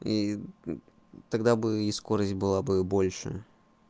и тогда бы и скорость была бы больше